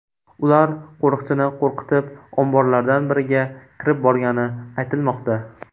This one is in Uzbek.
Ular qo‘riqchini qo‘rqitib, omborlardan biriga kirib borgani aytilmoqda.